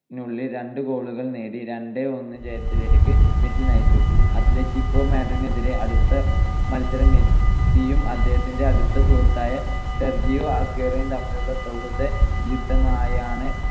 ഉള്ളിൽ രണ്ട് goal നേടി രണ്ട് - ഒന്ന് ജയത്തിലേക്ക് മെസ്സി നയിച്ചു. അത്‌ലെറ്റിക്കോ മാഡ്രിഡിനെതിരെ അടുത്ത മത്സരം മെസ്സിയും അദ്ദേഹത്തിന്റെ അടുത്ത സുഹൃത്തായ സെർജിയോ അഗ്യൂറോയും തമ്മിലുള്ള സൗഹൃദ യുദ്ധമായാണ്